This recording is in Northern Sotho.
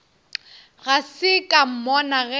ga se ka mmona ge